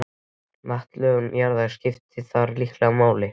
Hnattlögun jarðar skiptir þar líklega máli.